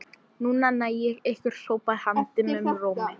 Núna næ ég ykkur hrópaði hann dimmum rómi.